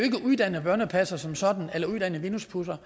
uddannet børnepasser som sådan eller uddannet vinduespudser